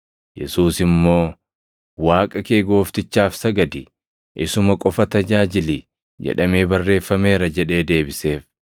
Yesuus immoo, “ ‘Waaqa kee Gooftichaaf sagadi, isuma qofa tajaajili’ + 4:8 \+xt KeD 6:13\+xt* jedhamee barreeffameera” jedhee deebiseef.